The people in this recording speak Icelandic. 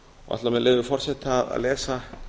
ætla með leyfi forseta að lesa